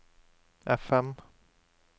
FM